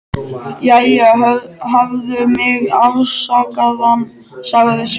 Jæja, hafðu mig afsakaðan, sagði Sveinn.